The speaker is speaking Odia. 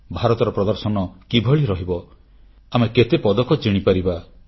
ଭାରତର ପ୍ରଦର୍ଶନ କିଭଳି ରହିବ ଆମେ କେତେ ପଦକ ଜିଣିପାରିବା